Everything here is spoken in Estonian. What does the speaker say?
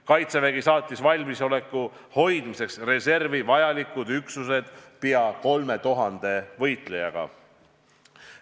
Kaitsevägi saatis valmisoleku hoidmiseks reservi vajalikud üksused peaaegu 3000 võitlejaga.